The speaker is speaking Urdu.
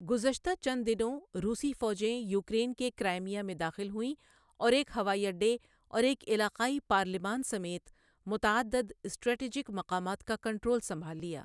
گذشتہ چند دنوں روسی فوجیں یوکرین کے کرائمیا میں داخل ہوئیں اور ایک ہوائی اڈے اور ایک علاقائی پارلیمان سمیت متعدد اسٹریٹجک مقامات کا کنٹرول سنبھال لیا۔